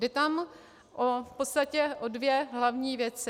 Jde tam v podstatě o dvě hlavní věci.